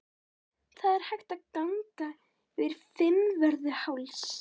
Það er hægt að ganga yfir Fimmvörðuháls.